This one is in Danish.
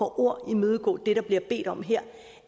ord imødekomme det der bliver bedt om her